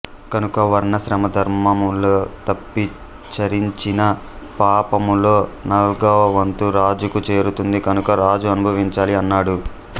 కనుక వర్ణాశ్రమ ధర్మములు తప్పి చరించిన పాపములో నాల్గవవంతు రాజుకు చేరుతుంది కనుక రాజు అనుభవించాలి అన్నాడు